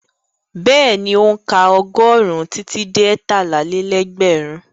Bẹ́ẹ̀ni, ó ń ka ọgọ́rùn-ún títí dé ẹtálá-lé-lẹ́gbẹ̀rún.